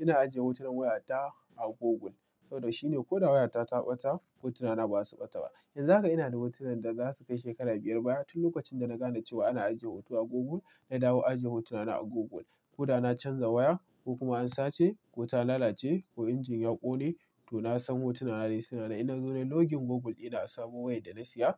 Ina ajiye hotunan wayata a Google. Saboda shine ko da wayata ta ɓata hotunana ba za su ɓata ba. Yanzu haka ina da hotunan da za su kai shekaru biyar baya. Tun lokacin da na gane cewa ana ajiye hoto a Google, na dawo ajiye hotunana a Google. Ko da na canza waya, ko kuma an sace, ko ta lalace, ko injin ya ƙone, to na san hotunana ne su na nan. In na zo nayi login Google dina a sabon wayar da na siya,